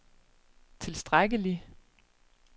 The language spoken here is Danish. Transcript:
tilstrækkelig